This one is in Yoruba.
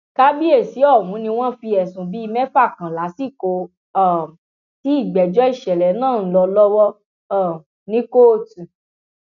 kábíyèsí ọhún ni wọn fi ẹsùn bíi mẹfà kan lásìkò um tí ìgbẹjọ ìṣẹlẹ náà ń lọ lọwọ um ní kóòtù